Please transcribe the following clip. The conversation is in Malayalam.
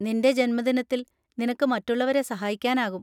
നിന്‍റെ ജന്മദിനത്തിൽ നിനക്ക് മറ്റുള്ളവരെ സഹായിക്കാനാകും.